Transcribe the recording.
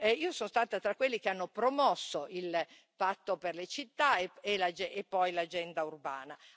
Io sono stata tra quelli che hanno promosso il patto per le città e poi l'agenda urbana.